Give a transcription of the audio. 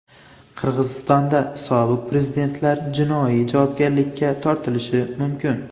Qirg‘izistonda sobiq prezidentlar jinoiy javobgarlikka tortilishi mumkin.